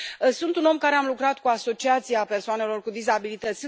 Sunt un om care a lucrat cu Asociația persoanelor cu dizabilități.